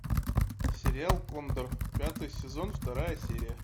сериал кондор пятый сезон вторая серия